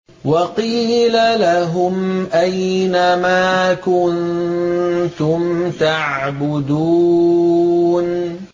وَقِيلَ لَهُمْ أَيْنَ مَا كُنتُمْ تَعْبُدُونَ